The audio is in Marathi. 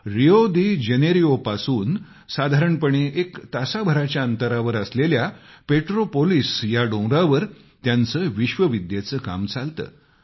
रियादिजेनेरोपासून साधारणपणे एक तासभराच्या अंतरावर असलेल्या पेट्रोपोलिस या डोंगरावर त्यांचं विश्वविद्येचं काम चालतं